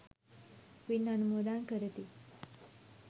පින් අනුමෝදන් කරති.